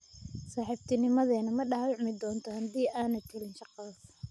Saaxiibtinimadeenna ma dhaawacmi doontaa haddii aanad helin shaqadaas?